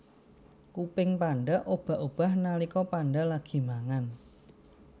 Kuping panda obah obah nalika panda lagi mangan